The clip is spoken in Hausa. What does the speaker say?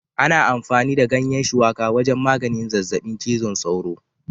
Ana amfani da ganyen Shuwaka wajen maganin zazzabin cizon sauro